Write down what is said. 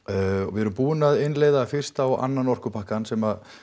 við erum búin að innleiða fyrsta og annan orkupakkann sem